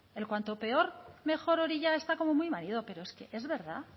el cuanto peor mejor hori ya está como muy manido pero es que es verdad